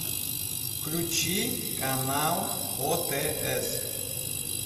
включи канал отс